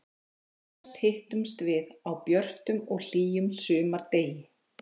Síðast hittumst við á björtum og hlýjum sumardegi.